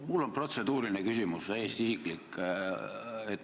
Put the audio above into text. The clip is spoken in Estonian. Mul on protseduuriline küsimus, täiesti isiklik.